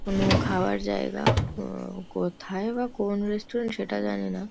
কোনো খাওয়ার জায়গা । উম কোথায় বা কোন রেস্টুরেন্ট সেটা জানি না।